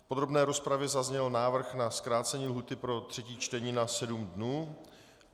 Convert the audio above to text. V podrobné rozpravě zazněl návrh na zkrácení lhůty pro třetí čtení na sedm dnů.